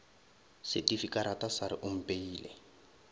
setifikarata sa re o mpeile